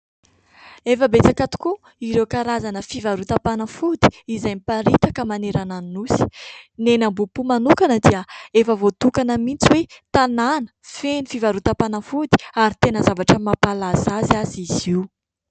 Efa betsaka tokoa ireo karazam-panafody izay miparitaka manerana ny nosy; Ny eny Ambohipo manokana dia efa voatokana mihitsy hoe tanàna feno fivarotam-panafody, ary tena zavatra mampahalaza azy aza izy io.